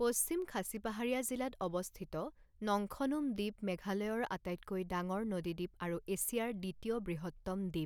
পশ্চিম খাছী পাহাৰীয়া জিলাত অৱস্থিত নংখনুম দ্বীপ মেঘালয়ৰ আটাইতকৈ ডাঙৰ নদী দ্বীপ আৰু এছিয়াৰ দ্বিতীয় বৃহত্তম দ্বীপ।